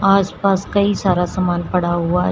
आस पास कई सारा समान पड़ा हुआ है।